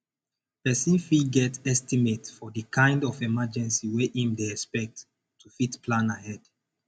person fit get estimate for di kind of emergency wey im dey expect to fit plan ahead